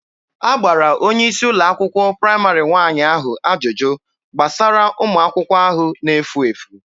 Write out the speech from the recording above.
A gbara onye isi ụlọ akwụkwọ praịmarị nwaanyị ahụ ajụjụ gbasara ụmụ akwụkwọ ahụ na-efu efu.